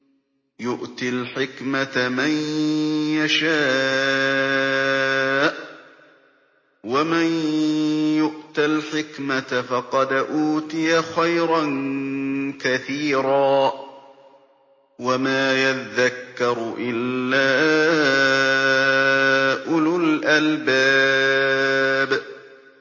يُؤْتِي الْحِكْمَةَ مَن يَشَاءُ ۚ وَمَن يُؤْتَ الْحِكْمَةَ فَقَدْ أُوتِيَ خَيْرًا كَثِيرًا ۗ وَمَا يَذَّكَّرُ إِلَّا أُولُو الْأَلْبَابِ